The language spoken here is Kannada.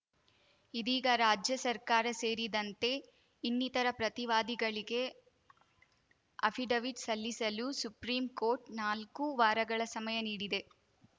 ಇದೀಗ ರಾಜ್ಯ ಸರ್ಕಾರ ಸೇರಿದಂತೆ ಇನ್ನಿತರ ಪ್ರತಿವಾದಿಗಳಿಗೆ ಅಫಿಡವಿಟ್‌ ಸಲ್ಲಿಸಲು ಸುಪ್ರೀಂ ಕೋರ್ಟ್‌ ನಾಲ್ಕು ವಾರಗಳ ಸಮಯ ನೀಡಿದೆ